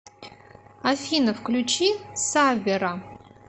афина включи саввера